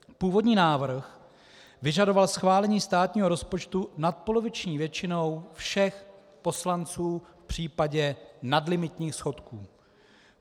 Původní návrh vyžadoval schválení státního rozpočtu nadpoloviční většinou všech poslanců v případě nadlimitních schodků.